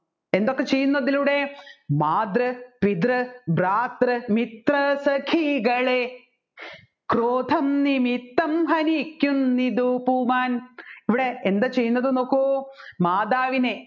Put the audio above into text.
എന്തൊക്കെ ചെയ്യുന്നു ഇതിലൂടെ മാതൃ പിതൃ ധാതൃ മിതൃ സഖികളെ ക്രോധം നിമിത്തം ഹനിക്കുന്നു ദൂപുമാൻ ഇവിടെ എന്താ ചെയ്യുന്നത് നോക്കു മാതാവിനെ